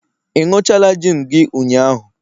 ị ịnuchala gin gi ụnyahụ?